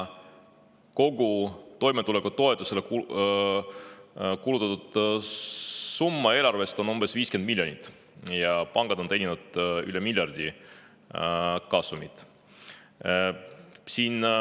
Kogu toimetulekutoetusele eelarvest kulutatud summa on umbes 50 miljonit, aga pangad on teeninud üle miljardi kasumit.